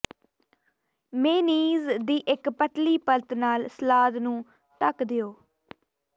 mayonnaise ਦੀ ਇੱਕ ਪਤਲੀ ਪਰਤ ਨਾਲ ਸਲਾਦ ਨੂੰ ਢੱਕ ਦਿਓ